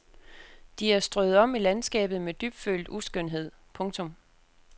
De er strøet om i landskabet med dybfølt uskønhed. punktum